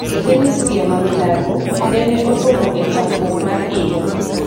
Ei hemisphere mamilambo, nene otwomo e chakruok mar higa.